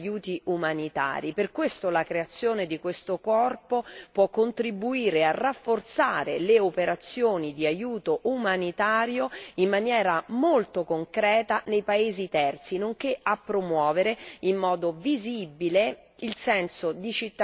Per questo la creazione di questo corpo può contribuire a rafforzare le operazioni di aiuto umanitario in maniera molto concreta nei paesi terzi, nonché a promuovere in modo visibile il senso di cittadinanza europeo.